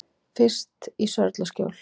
Fyrst í Sörlaskjól.